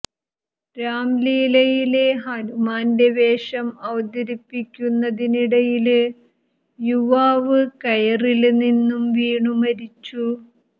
രാംലീലയിലെ ഹനുമാന്റെ വേഷം അവതരിപ്പിക്കുന്നതിനിടയില് യുവാവ് കയറില് നിന്നും വീണു മരിച്ചു